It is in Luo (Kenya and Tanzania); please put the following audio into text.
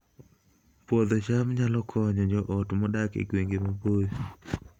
Puodho cham nyalo konyo joot modak e gwenge maboyo